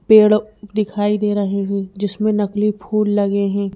पेड़ दिखाई दे रहे है जिसमें नकली फूल लगे है।